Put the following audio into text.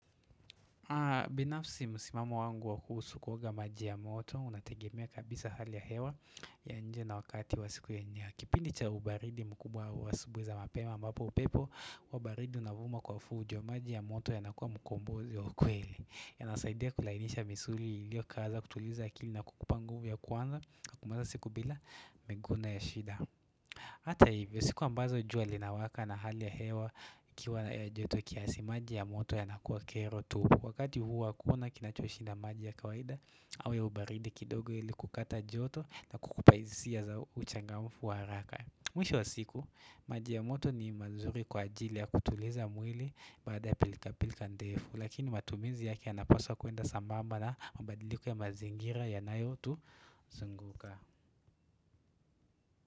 Binafsi msimamo wangu wa kuhusu kuoga maji ya moto unategemea kabisa hali ya hewa ya nje na wakati wa siku ya nya Kipindi cha ubaridi mkubwa wa asubuhi za mapema ambapo upepo wa baridi unavuma kwa fujo maji ya moto yanakuwa mkombozi wa ukweli yanasaidia kulainisha misuli ilio kala kutuliza akili na kukupa nguvu ya kwanza kumaliza siku bila meguna ya shida Ata hivyo siku ambazo jua linawaka na hali ya hewa ikiwa na juto kiasi maji ya moto yanakuwa kero tu Wakati huu wakuona kinachoshinda maji ya kawaida au ya ubaridi kidogo ili kukata joto na kukupa hisia za uchangamfu wa haraka Mwisho wa siku, maji ya moto ni mazuri kwa ajili ya kutuliza mwili baada ya pilkapilka ndefu Lakini matumizi yaki yanaposwa kwenda sambamba na mabadiliko ya mazingira yanayotuzunguka.